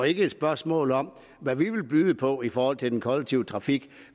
ikke et spørgsmål om hvad vi vil byde på i forhold til den kollektive trafik